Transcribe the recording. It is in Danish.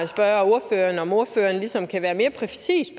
jeg om ordføreren ligesom kan være mere præcis